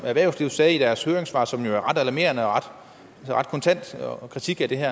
erhvervslivet sagde i deres høringssvar som jo var ret alarmerende og en ret kontant kritik af det her